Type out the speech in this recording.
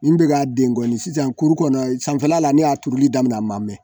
Min bɛ a den kɔni sisan kuru kɔnɔ sanfɛla la ne y'a turuli daminɛ a ma mɛɛn